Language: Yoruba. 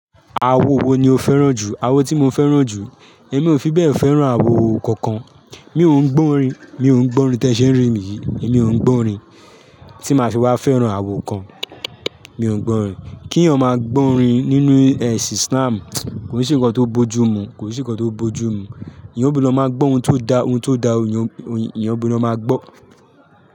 Awo wo ni o fẹ́ràn jù? Awo tí mo fẹ́ràn jù. Èmi ò fi bẹ́ẹ̀ fẹ́ràn awo kankan. Mi ò ń gbọ́ orin, mi ò ń gbọ́ orin ti e ṣe ń ri mi yii, èmi ò ń gbọ́ orin. Tí máa fi wá fẹ́ràn awo kan, mi ò ń gbọ́ orin. Kí eeyan máa gbọ́ orin nínú ẹ̀sìn Islam, kò n se ǹkan tó bo jú mu, kò n se ǹkan tó bo jú mu. Eeyan gbudo máa gbọ́ ohun tó da, ohun tó da ni eeyan gbudo máa gbọ́